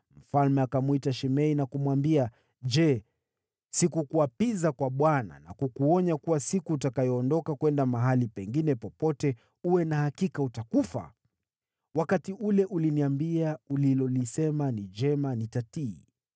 mfalme akamwita Shimei na kumwambia, “Je, sikukuapiza kwa Bwana na kukuonya kuwa, ‘Siku utakayoondoka kwenda mahali pengine popote, uwe na hakika utakufa?’ Wakati ule uliniambia, ‘Ulilolisema ni jema. Nitatii!’